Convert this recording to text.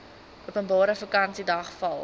openbare vakansiedag val